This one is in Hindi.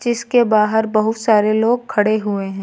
इसके बाहर बहुत सारे लोग खड़े हुए हैं।